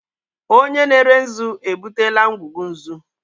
Onye na-ere nzu ebutela ngwugwu nzu.